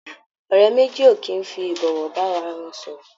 Ọ̀rẹ́ méjì ò kì í fi ìbọ̀wọ̀ bá ara wọn sọ̀rọ̀.